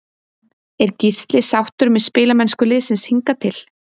Er Gísli sáttur með spilamennsku liðsins hingað til?